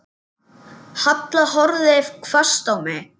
Halla horfði hvasst á mig.